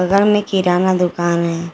बगल में किरना का दुकान है।